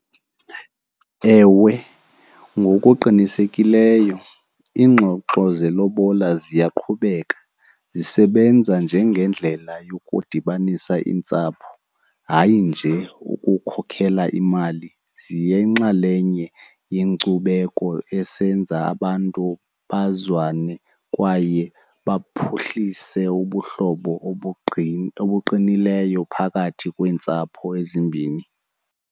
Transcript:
Ewe, ngokuqinisekileyo iingxoxo zelobola ziyaqhubeka zisebenza njengendlela yokudibanisa iintsapho, hayi nje ukukhokhela imali. Ziyinxalenye yenkcubeko esenza abantu bazwane kwaye baphuhlise ubuhlobo obuqinileyo phakathi kweentsapho ezimbini.